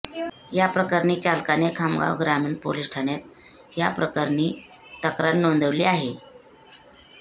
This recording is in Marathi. याप्रकरणी चालकाने खामगाव ग्रामीण पोलीस ठाण्यात याप्रकरणी तक्रार नोंदविली आहे